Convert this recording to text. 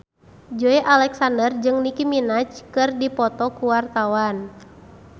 Joey Alexander jeung Nicky Minaj keur dipoto ku wartawan